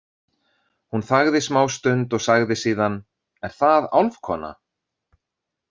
Hún þagði smástund og sagði síðan: Er það álfkona?